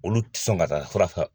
Olu ti sɔn ka taa fura san.